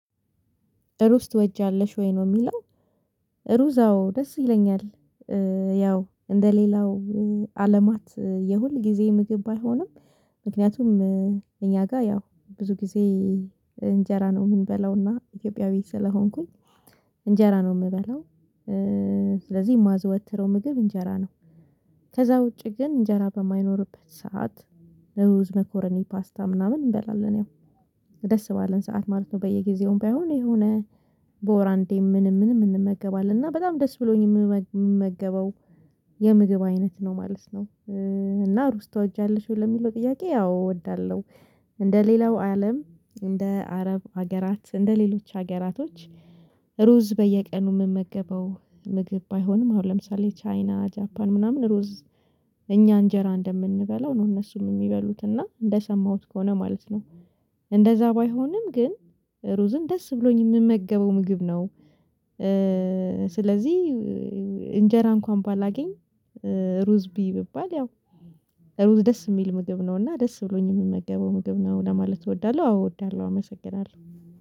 ሩዝ ትወጃለሽ ወይ ነው የሚለው? ሩዝ አዎ ደስ ይለኛል። ያው እንደሌላው አለማት የሁል ጊዜ ምግብ ባልሆንም ምክንያቱም እኛ ጋር ያው ብዙ ጊዜ እንጀራ ነው የምንበላውና ኢትዮጵያዊ ስለሆንኩኝ እንጀራ ነው የምበላው። ስለዚህ የማዘወትረው ምግብ እንጀራ ነው። ከዛ ውጪ ግን እንጀራ በማይኖርበት ሰዓት ሩዝ መኮረኒ ፓስታ ምናምን እንበላለን ያው ደስ ባለን ሰዓት ማለት ነው። በየጊዜውም ባይሆን የሆነ በወር አንዴ ምንም ምንም እንመገባለን እና በጣም ደስ ብሎኝ የምመገበው የምግብ አይነት ነው ማለት ነው። እና ሩስ ተወጃለሽ ለሚለው ጥያቄ አዎ እወዳለሁ። እንደ ሌላው አለም እንደ አረብ ሀገራት እንደ ሌሎች ሀገራቶች። ሩዝ በየቀኑ የምመገበው ምግብ ባይሆንም አሁን ለምሳሌ ቻይና ጃፓን ምናምን ሩዝ እኛ እንጀራ እንደምንበላው ነው እነሱን የሚበሉት እና እንደሰማሁት ከሆነ ማለት ነው። እንደዛ ባይሆንም ግን ሩዝን ደስ ብሎኝ የምመገበው ምግብ ነው። ስለዚህ እንጀራ እንኳን ባላገኝ ሩዝ ብዪ ብባል ያው ሩዝ ደስ የሚል ምግብ ነው እና ደስ ብሎኝ የምመገበው ምግብ ነው ለማለት እወዳለሁ። አዎ እወዳለሁ አመሰግናለሁ።